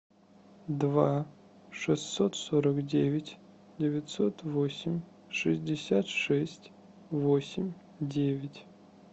два шестьсот сорок девять девятьсот восемь шестьдесят шесть восемь девять